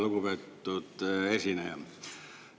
Lugupeetud esineja!